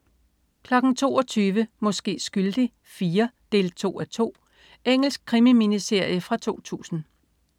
22.00 Måske skyldig IV 2:2. Engelsk krimi-miniserie fra 2000